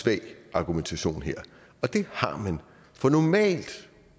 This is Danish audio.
svag argumentation her og det har man for normalt